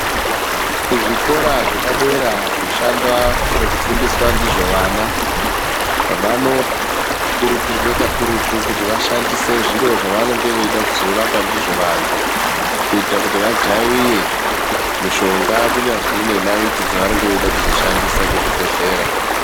Kuzvikora zvepadera zvoshanda nekufundiswa ndizvo vana vanoo kurudzirwe kakurutu kuti vashandise zviro zvavanenge veide kuzorapa ndizvo vantu kuita kuti vajaiye mushonga kunyazwi nenaiti dzavanenge veide kuzoshandisa kuchibhedhlera.